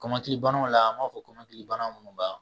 kɔmɔkilibanaw la a b'a kɔmɔkilibanaw minnu b'a